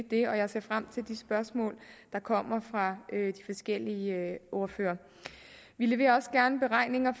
det jeg ser frem til de spørgsmål der kommer fra de forskellige ordførere vi leverer også gerne beregninger